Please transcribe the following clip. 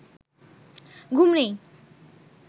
ঘুম নেই